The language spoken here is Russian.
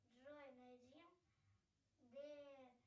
джой найди де